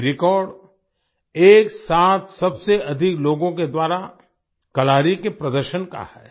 ये रेकॉर्ड एक साथ सबसे अधिक लोगों के द्वारा कलारी के प्रदर्शन का है